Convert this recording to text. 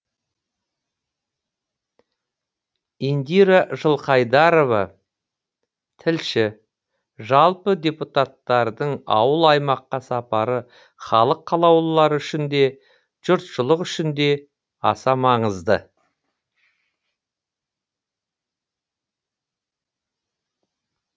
индира жылқайдарова тілші жалпы депутаттардың ауыл аймаққа сапары халық қалаулылары үшін де жұртшылық үшін де аса маңызды